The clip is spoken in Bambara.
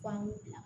Fan mi bila